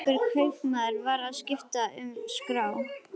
Eiríkur kaupmaður var að skipta um skrá.